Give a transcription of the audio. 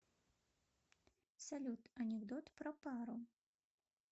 салют анекдот про пару